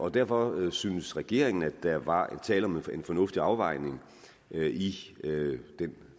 derfor synes regeringen at der var tale om en fornuftig afvejning i